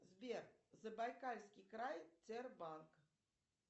сбер забайкальский край тербанк